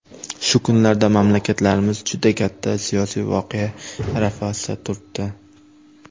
Shu kunlarda mamlakatlarimiz juda katta siyosiy voqea arafasida turibdi.